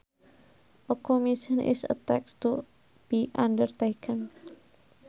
A commission is a task to be undertaken